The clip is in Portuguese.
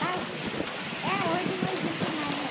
Pajem? É, hoje não existe mais, né?